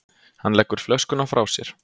Hann leggur flöskuna frá sér.